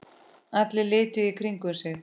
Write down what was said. Allir litu í kringum sig.